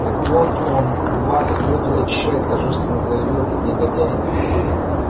так вот он у нас воду и очищает торжественно заявил этот негодяй